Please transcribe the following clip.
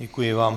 Děkuji vám.